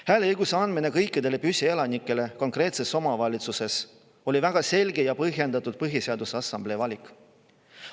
Hääleõiguse andmine kõikidele püsielanikele konkreetses omavalitsuses oli Põhiseaduse Assamblee väga selge ja põhjendatud valik.